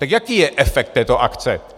Tak jaký je efekt této akce?